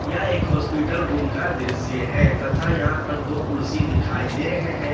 यह एक hospital room का दृश्य है तथा यहां पर दो कुर्सी दिखाई दे रहे हैं।